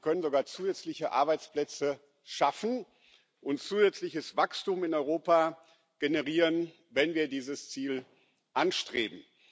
Wir können sogar zusätzliche Arbeitsplätze schaffen und zusätzliches Wachstum in Europa generieren, wenn wir dieses Ziel anstreben.